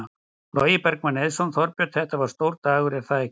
Logi Bergmann Eiðsson: Þorbjörn, þetta var stór dagur er það ekki?